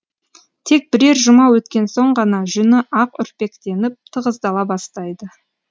тек бірер жұма өткен соң ғана жүні ақ үрпектеніп тығыздала бастайды